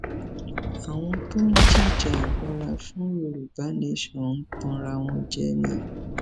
àwọn tó ń jìjàgbara fún yorùbá nation ń tanra wọn jẹ ni